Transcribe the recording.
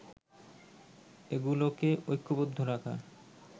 এগুলোকে ঐক্যবদ্ধ রাখা